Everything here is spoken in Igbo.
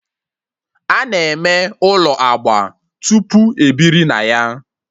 Ana eme ụlọ agba tupu ebiri na ya